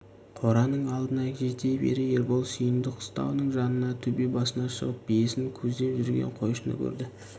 қораның алдына жете бере ербол сүйіндік қыстауының жанында төбе басына шығып биесін көздеп жүрген қойшыны көрді